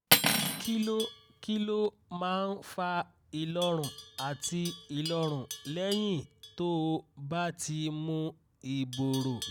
kí ló kí ló máa ń fa ìlọ́run àti ìlọ́run lẹ́yìn tó o bá ti mu ibpro?